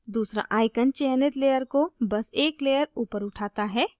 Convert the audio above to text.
दूसरा icon चयनित layer को बस एक layer ऊपर उठाता है